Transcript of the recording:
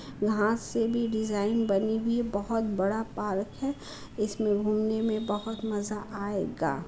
वहाँ से भी डिज़ाइन बनी हुई है। बोहत बड़ा पार्क है। इसमे घूमने मे बोहत मजा आयेगा।